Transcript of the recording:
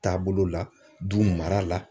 Taabolo la du mara la